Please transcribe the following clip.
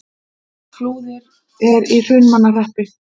Flúðir er í Hrunamannahreppi.